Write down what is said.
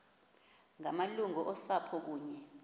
ngamalungu osapho kunye